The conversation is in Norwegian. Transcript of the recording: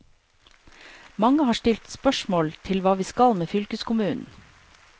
Mange har stilt spørsmål til hva vi skal med fylkeskommunen.